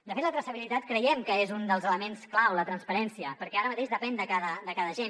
de fet la traçabilitat creiem que és un dels elements clau la transparència perquè ara mateix depèn de cada agent